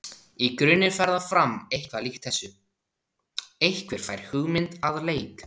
Í grunninn fer það fram eitthvað líkt þessu: Einhver fær hugmynd að leik.